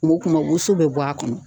O kuma woso bɛ bɔ a kɔnɔ.